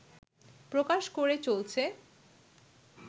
প্রকাশ করে চলছে